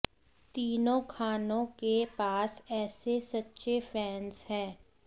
तीनों खानों के पास ऐसे सच्चे फैन्स हैं